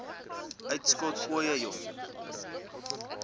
uitskot ooie jong